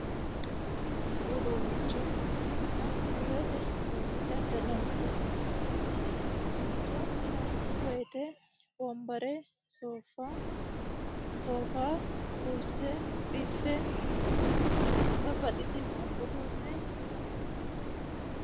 Mini uduunnichona biirote uduunnicho daddallani base. Mini uduunnicho yinanni woyiite wonbare, soofa, kurse, biffe babbaxitino uduunne hirranni bayiichoti.